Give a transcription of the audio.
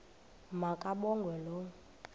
ma kabongwe low